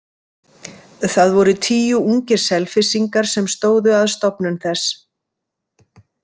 Það voru tíu ungir Selfyssingar sem stóðu að stofnun þess.